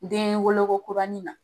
Den woloko kurani na